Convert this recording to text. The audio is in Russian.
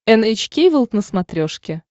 эн эйч кей волд на смотрешке